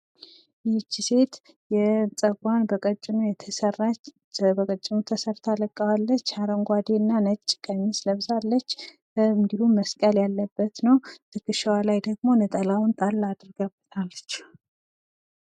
ይች ሴት ጸጉሯን በቀጭኑ የተሰራች በቀጭኑ ተሰርታ ለቃዋለች። አረንጓዴ እና ነጭ ቀሚስ ለብሳለች። እንድሁም መስቀል ያለበት ነው ።ትከሻዋ ላይ ደግሞ ነጠላውን ጣል አድርጋበታለች።